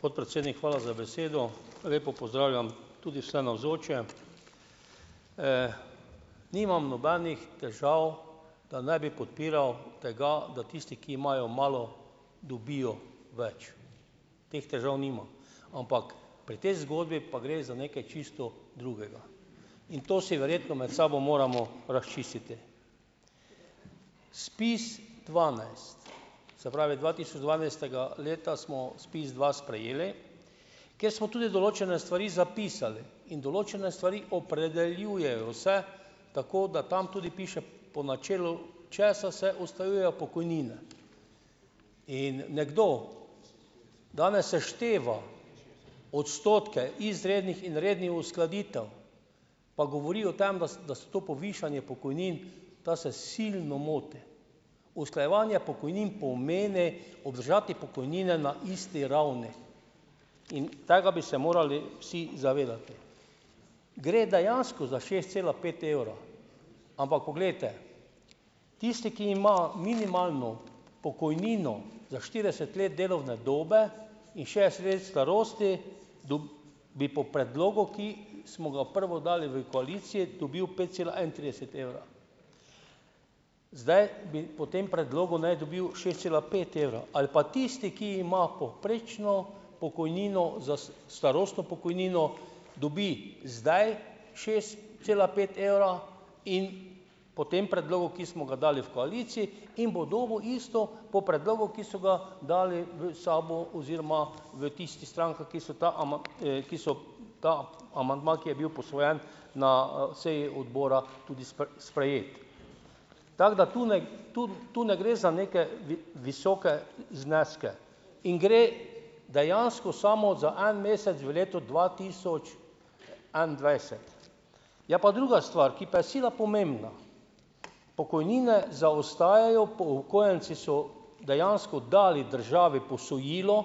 Podpredsednik, hvala za besedo. Lepo pozdravljam tudi vse navzoče. Nimam nobenih težav, da ne bi podpiral tega, da tisti, ki imajo malo, dobijo več. Teh težav nimam. Ampak pri tej zgodbi pa gre za nekaj čisto drugega. In to si verjetno med sabo moramo razčistiti. SPIZdvanajst, se pravi dva tisoč dvanajstega leta smo SPIZdva sprejeli, kjer smo tudi določene stvari zapisali in določene stvari opredeljujejo vse, tako da tam tudi piše, po načelu česa se usklajujejo pokojnine. In nekdo danes sešteva odstotke izrednih in rednih uskladitev, pa govori o tem, da da so to povišanje pokojnin, ta se silno moti. Usklajevanje pokojnin pomeni obdržati pokojnine na isti ravni in tega bi se morali vsi zavedati. Gre dejansko za šest cela pet evra, ampak poglejte. Tisti, ki ima minimalno pokojnino za štirideset let delovne dobe in še sredi starosti, bi po predlogu, ki smo ga prvo dali v koaliciji, dobil pet cela enaintrideset evra. Zdaj bi po tem predlogu ne dobil šest cela pet evra ali pa tisti, ki ima povprečno pokojnino, za starostno pokojnino, dobi zdaj šest cela pet evra in po tem predlogu, ki smo ga dali v koaliciji, in bo dobil isto po predlogu, ki so ga dali v SAB-u oziroma v tisti strankah, ki so ta ki so ta amandma, ki je bil posvojen na, seji odbora, tudi sprejeli. Tako da tu ne, tu, tu ne gre za neke visoke zneske in gre dejansko samo za en mesec v letu dva tisoč enaindvajset. Je pa druga stvar, ki pa je sila pomembna. Pokojnine zaostajajo, upokojenci so dejansko dali državi posojilo,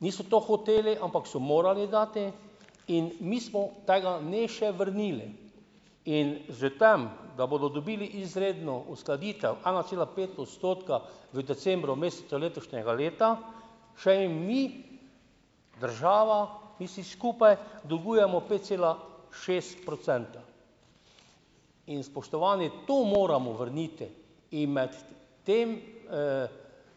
niso to hoteli, ampak so morali dati, in mi smo tega ne še vrnili. In že tem, da bodo dobili izredno uskladitev ena cela pet odstotka v decembru, mesecu letošnjega leta, še jim ni država, mi vsi skupaj dolgujemo pet cela šest procenta. In spoštovani, to moramo vrniti in imeti tem,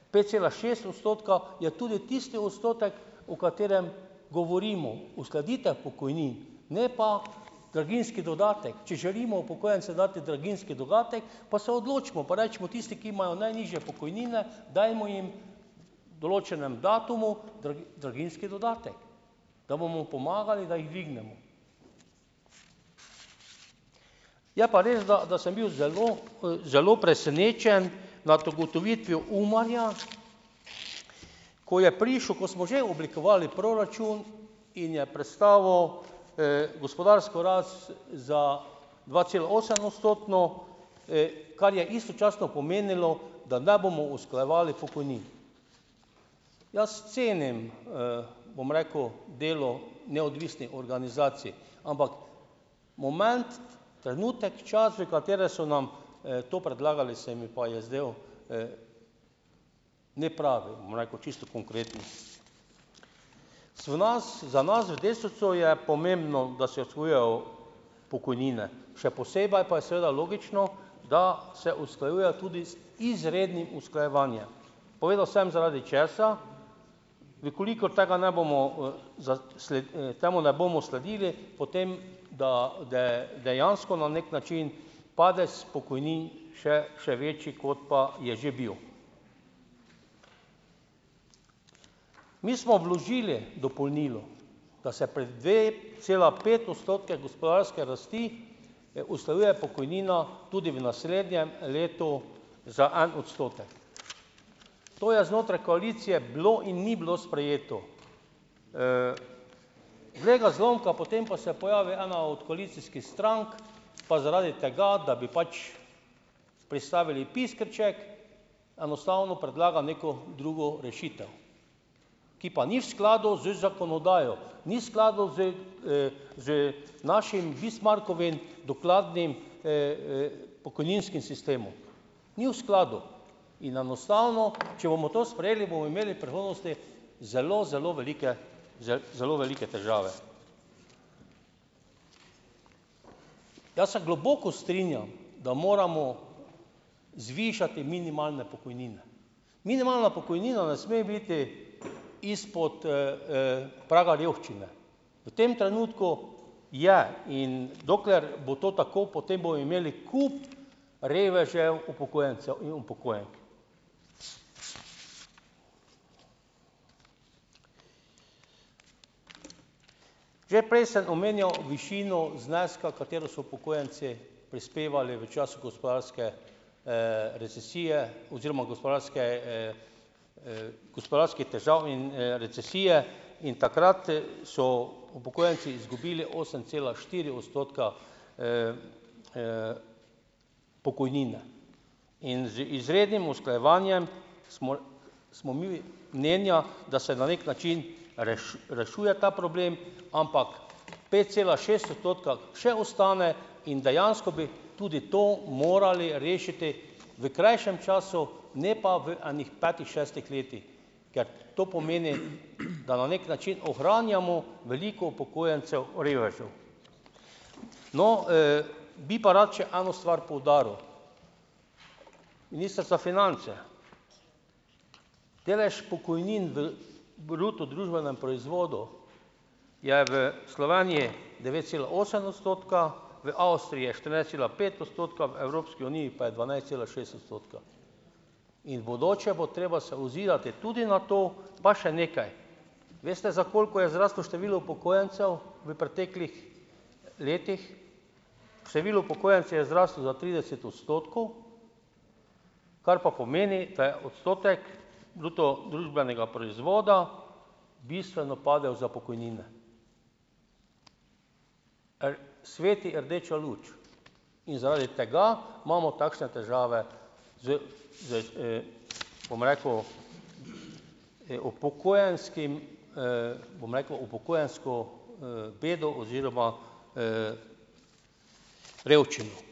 pet cela šest odstotka je tudi tisti odstotek, o katerem govorimo - uskladitev pokojnin, ne pa draginjski dodatek. Če želimo upokojencem dati draginjski dodatek, pa se odločimo, pa recimo, tisti, ki imajo najnižje pokojnine, dajmo jim določenem datumu draginjski dodatek, da bomo pomagali, da jih dvignemo. Je pa res, da, da sem bil zelo, zelo presenečen nad ugotovitvijo UMAR-ja, ko je prišel, ko smo že oblikovali proračun, in je predstavil, gospodarsko rast za dvacelaosemodstotno, kar je istočasno pomenilo, da ne bomo usklajevali pokojnin. Jaz cenim, bom rekel, delo neodvisnih organizacij, ampak moment, trenutek, čas, v katerem so nam, to predlagali, se mi pa je zdel, nepravi, bom rekel čisto konkretno. So nas, za nas v Desusu je pomembno, da se pokojnine, še posebej pa je seveda logično, da se usklajuje tudi z izrednim usklajevanjem. Povedal sem, zaradi česa. V kolikor tega ne bomo, temu ne bomo sledili, potem da, dejansko na neki način, padec pokojnin še, še večji, kot pa je že bil. Mi smo vložili dopolnilo, da se pri dvecelapetodstotni gospodarski rasti, usklajuje pokojnina tudi v naslednjem letu za en odstotek. To je znotraj koalicije bilo in ni bilo sprejeto. glej ga zlomka, potem pa se pojavi ena od koalicijskih strank, pa zaradi tega, da bi pač pristavili "piskrček", enostavno predlaga neko drugo rešitev, ki pa ni v skladu z zakonodajo, ni skladno z, z našim Bismarckovim, dokladnim, pokojninskim sistemom. Ni v skladu in enostavno, če bomo to sprejeli, bomo imeli v prihodnosti zelo, zelo velike zelo velike težave. Jaz se globoko strinjam, da moramo zvišati minimalne pokojnine. Minimalna pokojnina ne sme biti izpod, praga revščine. v tem trenutku je, in dokler bo to tako, potem bojo imeli kup revežev upokojencev in upokojenk. Že prej sem omenjal višino zneska, v katero so upokojenci prispevali v času gospodarske, recesije oziroma gospodarske, gospodarskih težav in, recesije in takrat, so upokojenci izgubili osem cela štiri odstotka, pokojnine in z izrednim usklajevanjem smo smo mi mnenja, da se na neki način rešuje ta problem, ampak pet cela šest odstotka še ostane in dejansko bi tudi to morali rešiti v krajšem času, ne pa v enih petih, šestih letih, ker to pomeni, da na neki način ohranjamo veliko upokojencev revežev. No, bi pa rad še eno stvar poudaril. Minister za finance, delež pokojnin v bruto družbenem proizvodu je v Sloveniji devet cela osem odstotka, v Avstriji je štirinajst cela pet odstotka, v Evropski uniji pa je dvanajst cela šest odstotka in v bodoče bo treba se ozirati tudi na to, pa še nekaj, veste, za koliko je zraslo število upokojencev v preteklih letih? Število upokojencev je zrastlo za trideset odstotkov, kar pa pomeni, da je odstotek bruto družbenega proizvoda bistveno padel za pokojnine. sveti rdeča luč in zaradi tega imamo takšne težave z, z, bom rekel, upokojenskim, bom rekel, upokojensko, bedo oziroma, revščino.